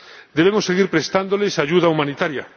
Debemos seguir prestándoles ayuda humanitaria.